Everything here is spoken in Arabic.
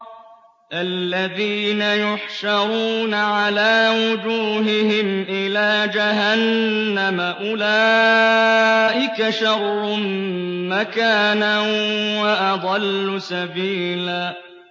الَّذِينَ يُحْشَرُونَ عَلَىٰ وُجُوهِهِمْ إِلَىٰ جَهَنَّمَ أُولَٰئِكَ شَرٌّ مَّكَانًا وَأَضَلُّ سَبِيلًا